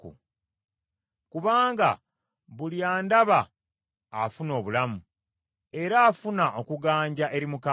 Kubanga buli andaba afuna obulamu, era afuna okuganja eri Mukama .